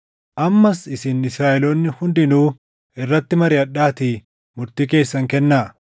Ammas isin Israaʼeloonni hundinuu irratti mariʼadhaatii murtii keessan kennaa.”